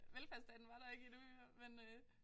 Velfærdsstaten var der ikke endnu men øh